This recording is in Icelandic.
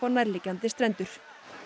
nærliggjandi strendur